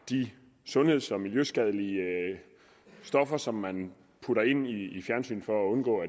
de sundheds og miljøskadelige stoffer som man putter ind i fjernsynet for at undgå at